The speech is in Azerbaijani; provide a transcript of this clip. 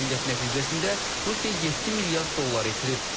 Əməliyyat nəticəsində Rusiya 7 milyard dollar itirib.